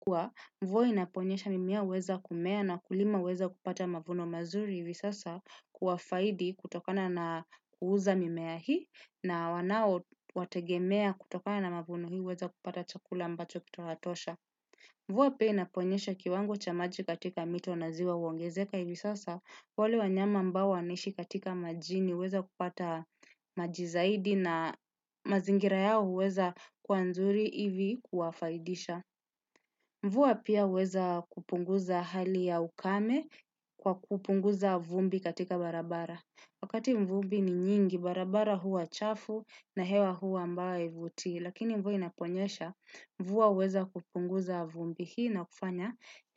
Mvua inaponyesha mimea uweza kumea na wakulima huweza kupata mavuno mazuri hivi sasa kwa faida kutokana na kuuza mimea hii na wanao wategemea kutokana na mavuno hii huweza kupata chakula ambacho kitawatosha. Mvua pia inaponyesha kiwango cha maji katika mito na ziwa huongezeka hivi sasa wale wanyama ambao wanaishi majini huweza kupata maji zaidi na mazingira yao huweza kwa mazuri hivyo kuwafaidisha. Mvua pia huweza kupunguza hali ya ukame kwa kupunguza vumbi katika barabara. Wakati vumbi ni jingi, barabara huwa chafu na hewa huwa ambayo haivutii. Lakini mvua inaponyesha, mvua huweza kupunguza vumbi. Hii inakufanya.